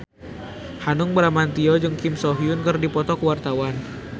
Hanung Bramantyo jeung Kim So Hyun keur dipoto ku wartawan